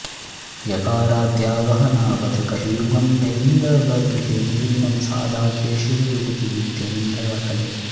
यकाराद्या वह्नावथ कषयुगं बैन्दवगृहे निलीनं सादाख्ये शिवयुवति नित्यैन्दवकले